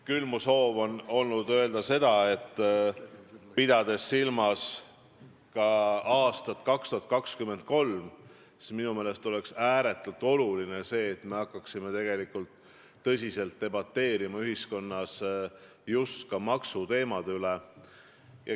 Küll on mu soov olnud öelda seda, et pidades silmas aastat 2023, on minu meelest ääretult oluline hakata tõsiselt debateerima ühiskonnas maksuteemade üle.